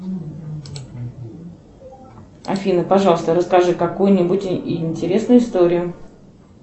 афина пожалуйста расскажи какую нибудь интересную историю